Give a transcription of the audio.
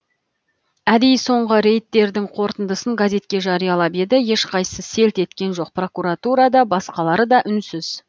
әдейі соңғы рейдтердің қорытындысын газетке жариялатып еді ешқайсысы селт еткен жоқ прокуратура да басқалары да үнсіз